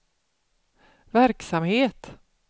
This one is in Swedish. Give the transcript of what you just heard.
verksamhet